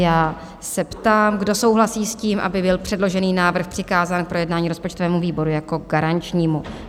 Já se ptám, kdo souhlasí s tím, aby byl předložený návrh přikázán k projednání rozpočtovému výboru jako garančnímu.